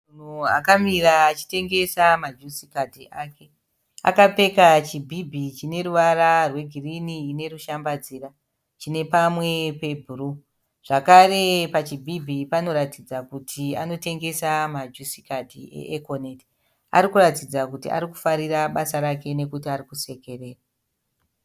Munhu akamira achitengesa majusikadhi ake. Akapfeka chibhibhi chine ruvara rwegirini ine rushambadzira, chine pamwe pebhuruu. Zvakare pachibhibhi panoratidza kuti anotengesa majusikadhi e"Econet". Ari kuratidza kuti ari kufarira basa rake nokuti ari kusekerera.